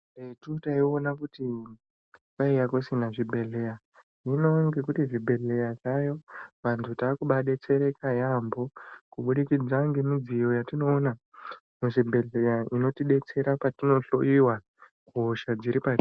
Karetu taiona kuti kwaiya kusina zvibhehleya hino ngekuti zvibhedhleya zvayo vantu takubadetsereka yaamho kubudikidza ngemidziyo yatinoona muzvibhehleya inotidetsera patinohloyiwa kuhosha dziripa.